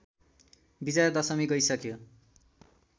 विजया दशमी गइसक्यो